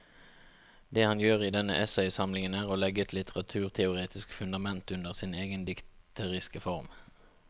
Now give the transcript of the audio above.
Det han gjør i denne essaysamlingen er å legge et litteraturteoretisk fundament under sin egen dikteriske form.